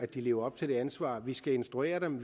de lever op til ansvaret vi skal instruere dem